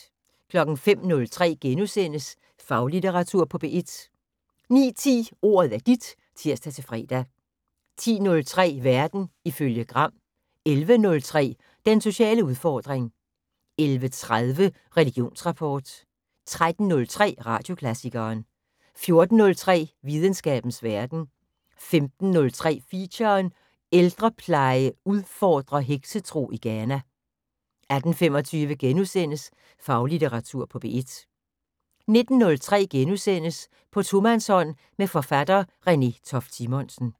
05:03: Faglitteratur på P1 * 09:10: Ordet er dit (tir-fre) 10:03: Verden ifølge Gram 11:03: Den sociale udfordring 11:30: Religionsrapport 13:03: Radioklassikeren 14:03: Videnskabens Verden 15:03: Feature: Ældrepleje udfordrer heksetro i Ghana 18:25: Faglitteratur på P1 * 19:03: På tomandshånd med forfatter Renée Toft Simonsen *